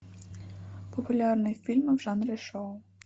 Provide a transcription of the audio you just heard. популярные фильмы в жанре шоу